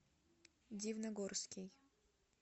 дивногорский